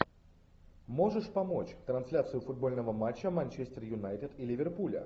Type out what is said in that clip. можешь помочь трансляцию футбольного матча манчестер юнайтед и ливерпуля